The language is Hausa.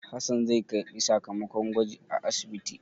Hassan zai karɓi sakamakon gwajin a asibiti.